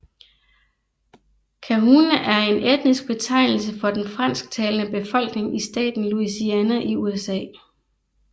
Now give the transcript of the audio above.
Cajun er en etnisk betegnelse for den fransktalende befolkning i staten Louisiana i USA